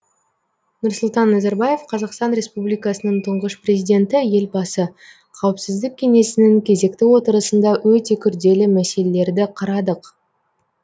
нұрсұлтан назарбаев қазақстан республикасының тұңғыш президенті елбасы қауіпсіздік кеңесінің кезекті отырысында өте күрделі мәселелерді қарадық